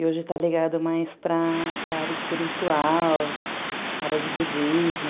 E hoje está ligado mais para para a área espiritual, área de budismo.